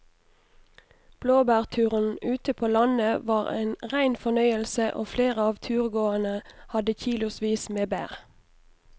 Blåbærturen ute på landet var en rein fornøyelse og flere av turgåerene hadde kilosvis med bær.